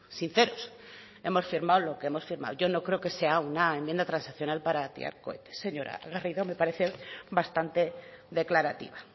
sinceros hemos firmado lo que hemos firmado yo no creo que sea una enmienda transaccional para tirar cohetes señora garrido me parece bastante declarativa